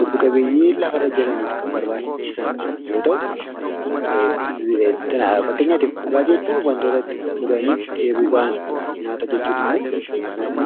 lubbu qabeeyyii lafa irra jiraataniif kan barbaachisan yoo ta’u, fakkeenyaaf dhugaatii jechuun wanta dhuganii dheebuu bahan; nyaata jechuun immoo wanta nyaatanii beela bahanidha.